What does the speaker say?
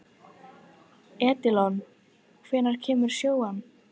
Edilon, hvenær kemur sjöan?